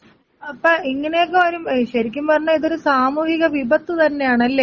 അപ്പ ഇങ്ങനെയൊക്കെ വരുമ്പയെ ശെരിക്കും പറഞ്ഞാ ഇതൊരു സാമൂഹിക വിപത്ത് തന്നെയാണ്ല്ലെ.